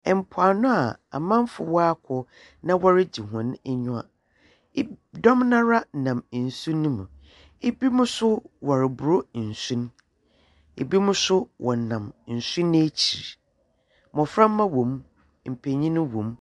Mpoano a amamfo wɔakɔ na wɔregye hɔn enyiwa, i dɔm noara wɔ nsu no mu, binom so wɔrobor nsu no, binom so wɔnam nsu no ekyir. Mboframba wɔ mu, mpanyimfo so wɔ mu.